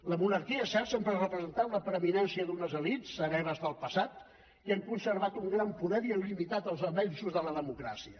la monarquia és cert sempre ha representat la preeminència d’unes elits hereves del passat que han conservat un gran poder i han limitat els avenços de la democràcia